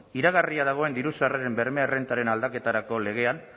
iragarria dagoen diru sarreren berme errentaren aldaketarako legean